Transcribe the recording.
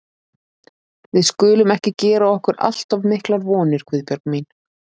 Við skulum ekki gera okkur allt of miklar vonir, Guðbjörg mín.